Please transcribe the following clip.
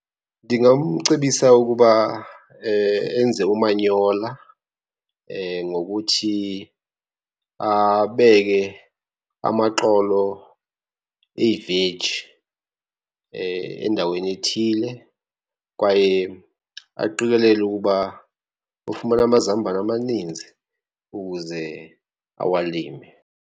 Ndingamcebisa ukuba enze umanyola ngokuthi abeke amaxolo eveji endaweni ethile, kwaye aqikelele ukuba ufumana amazambane amaninzi ukuze awalime.